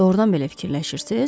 Doğrudan belə fikirləşirsiz?